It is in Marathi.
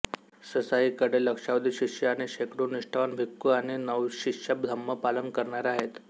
ससाईंकडे लक्षावधी शिष्य आणि शेकडो निष्ठावान भिक्खु आणि नवशिष्या धम्म पालन करणाऱ्या आहेत